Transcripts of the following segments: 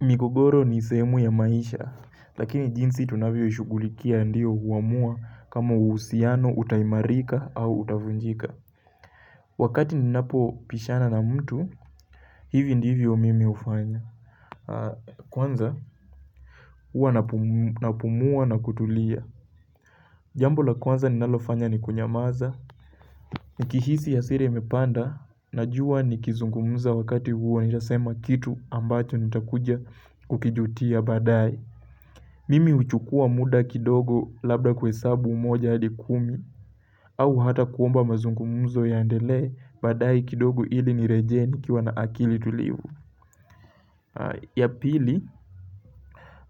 Migogoro ni sehemu ya maisha, lakini jinsi tunavyoishugulikia ndiyo huamua kama uhusiano, utaimarika au utavunjika. Wakati ninapobishana na mtu, hivi ndivyo mimi hufanya. Kwanza, huwa napumua na kutulia. Jambo la kwanza ninalofanya ni kunyamaza. Nikihisi hasira imepanda, najua nikizungumza wakati huo nitasema kitu ambacho nitakuja kukijutia baadae. Mimi huchukua muda kidogo labda kuhesabu moja hadi kumi au hata kuomba mazungumuzo yaendelee baadae kidogo ili nirejee nikiwa na akili tulivu. Ya pili,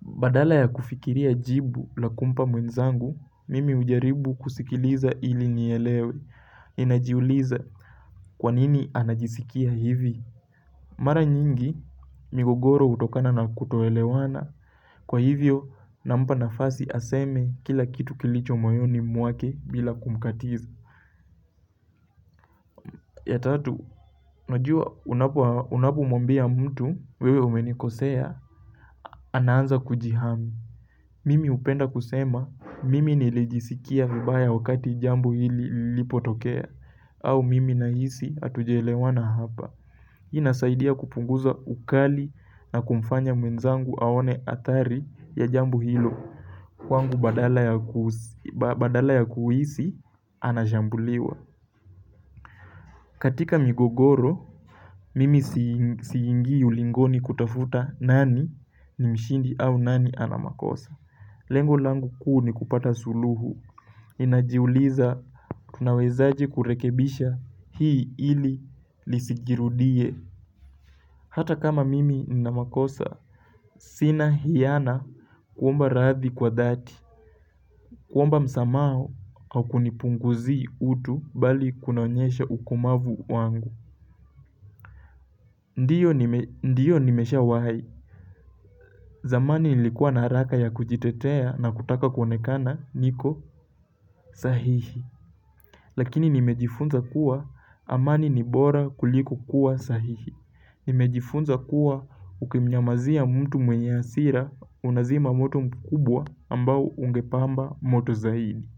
badala ya kufikiria jibu la kumpa mwenzangu mimi hujaribu kusikiliza ili nielewe ninajiuliza kwa nini anajisikia hivi. Mara nyingi, migogoro hutokana na kutoelewana. Kwa hivyo, na mpa nafasi aseme kila kitu kilicho moyoni mwake bila kumkatiza. Ya tatu, najua unapomwambia mtu wewe umenikosea, anaanza kujihami. Mimi hupenda kusema, mimi nilijisikia vibaya wakati jambo hili lilipotokea, au mimi nahisi haatujaelewana hapa. Inasaidia kupunguza ukali na kumfanya mwenzangu aone hatari ya jambo hilo. Kwangu badala ya kuhisi anachambuliwa. Katika migogoro, mimi siingi ulingoni kutafuta nani ni mshindi au nani ana makosa. Lengo langu kuu ni kupata suluhu ninajiuliza, tunawezaje kurekebisha hii ili lisijirudie. Hata kama mimi nina makosa, sina hiyana kuomba radhi kwa dhati. Kuomba msamaha haukunipunguzi utu bali kunaonyesha ukomavu wangu. Ndiyo nimeshawahi, zamani nilikuwa na haraka ya kujitetea na kutaka kuonekana niko sahihi. Lakini nimejifunza kuwa amani ni bora kuliko kuwa sahihi. Nimejifunza kuwa ukimnyamazia mtu mwenye hasira unazima moto mkubwa ambao ungepamba moto zaidi.